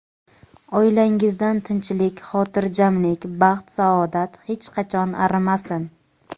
Oilangizdan tinchlik-xotirjamlik, baxt-saodat hech qachon arimasin!.